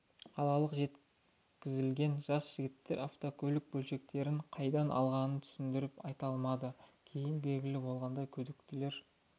қалалық жеткізілген жас жігіттер автокөлік бөлшектерін қайдан алғанын түсіндіріп айта алмады кейін белгілі болғандай күдіктілер